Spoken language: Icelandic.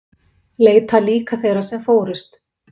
Leita líka þeirra sem fórust